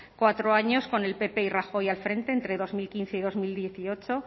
cuatro años con el pp y rajoy al frente entre dos mil quince y dos mil dieciocho